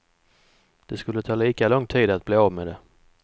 Det skulle ta lika lång tid att bli av med det.